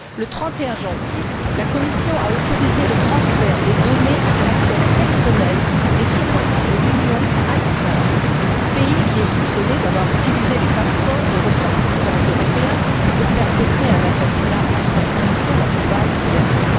Le 31 janvier, la Commission a autorisé le transfert des données à caractère personnel des citoyens de l'Union à Israël, pays qui est soupçonné d'avoir utilisé les passeports de ressortissants européens pour perpétrer un assassinat extrajudiciaire à Dubaï l'an dernier.